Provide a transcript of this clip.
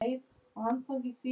Fá orð lýsa honum betur.